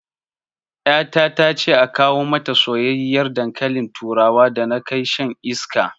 Ƴata tace a kawo mata soyyiyar dankalin turawa da na kai shan iska